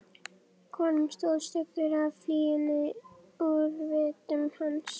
Konum stóð stuggur af fýlunni úr vitum hans.